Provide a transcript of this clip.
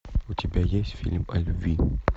у тебя есть фильм о любви